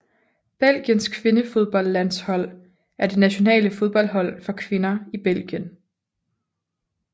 Belgiens kvindefodboldlandshold er det nationale fodboldhold for kvinder i Belgien